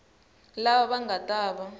lava va nga ta va